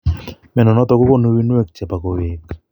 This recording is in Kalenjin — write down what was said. Mnyondo niton kogonu uinwek chebo koweg